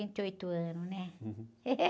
vinte e oito anos, né?